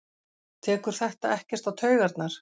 Tekur þetta ekkert á taugarnar?